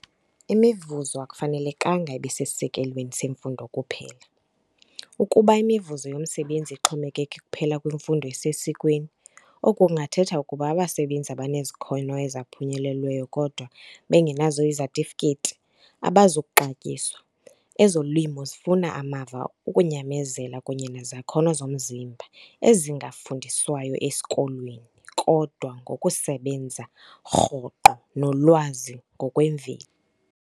Imivuzo akufanelekanga ibe sesisekelweni semfundo kuphela. Ukuba imivuzo yomsebenzi ixhomekeke kuphela kwimfundo esesikweni, oku kungathetha ukuba abasebenzi abanezakhono ezaphunyelelweyo kodwa bengenazo izatifiketi abazi kuxatyiswa. Ezolimo zifuna amava, ukunyamezela kunye nezakhono zomzimba ezingafundiswayo esikolweni, kodwa ngokusebenza rhoqo nolwazi ngokwemveli.